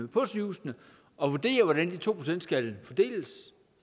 på sygehusene at vurdere hvordan de to procent skal fordeles